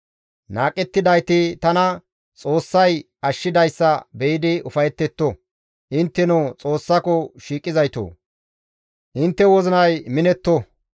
Qohettidayti tana Xoossay ashshidayssa be7idi ufayetetto. Intteno Xoossako shiiqizayto intte wozinay minetto.